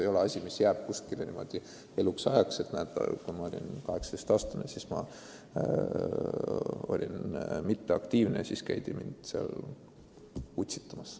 Ja tegu ei ole ka infoga inimese kohta, mis jääb kuskile tema eluajaks üles – et kui ta oli 18-aastane, siis ta oli passiivne ja teda käidi utsitamas.